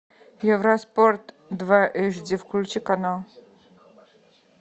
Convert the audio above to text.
евроспорт два эйч ди включи канал